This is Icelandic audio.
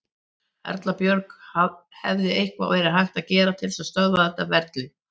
Erla Björg: Hefði eitthvað verið hægt að gera til þess að stöðva þetta ferli?